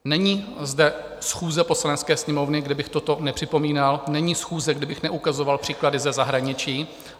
Není zde schůze Poslanecké sněmovny, kde bych toto nepřipomínal, není schůze, kdy bych neukazoval příklady ze zahraničí.